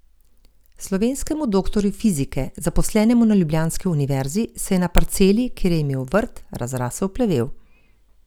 Slovenskemu doktorju fizike, zaposlenemu na ljubljanski univerzi, se je na parceli, kjer je imel vrt, razrasel plevel.